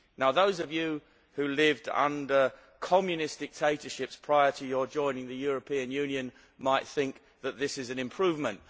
Those of you who lived under Communist dictatorships prior to your joining the European Union might think that this is an improvement.